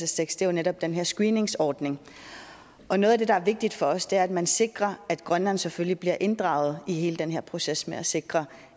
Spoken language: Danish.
tekst er netop den her screeningsordning og noget af det der er vigtigt for os er at man sikrer at grønland selvfølgelig bliver inddraget i hele den her proces med at sikre